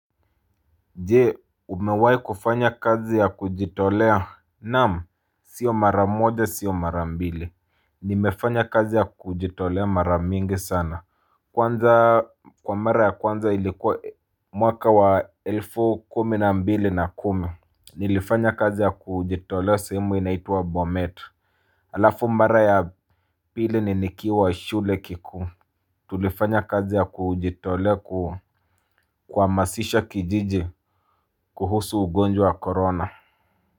Je umewahi kufanya kazi ya kujitolea naam siyo mara moja siyo mara mbili nimefanya kazi ya kujitolea mara mingi sana Kwanza kwa mara ya kwanza ilikuwa mwaka wa elfu kumi na mbili na kumi Nilifanya kazi ya kujitolea sehemu inaitwa bomet Alafu mara ya pili ni nikiwa shule kikuu Tulifanya kazi ya kujitolea ku kuhamasisha kijiji kuhusu ugonjwa wa korona.